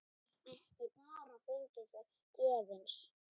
Ekki bara fengið þau gefins.